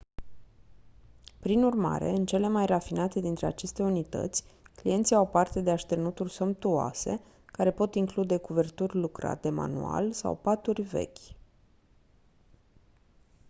prin urmare în cele mai rafinate dintre aceste unități clienții au parte de așternuturi somptuoase care pot include cuverturi lucrate manual sau paturi vechi